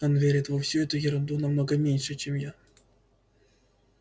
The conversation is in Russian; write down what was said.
он верит во всю эту ерунду намного меньше чем я